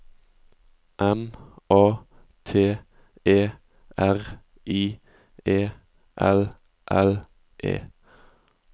M A T E R I E L L E